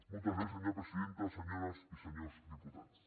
moltes gràcies senyora presidenta senyores i senyors diputats